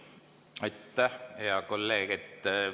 Aitäh, hea kolleeg!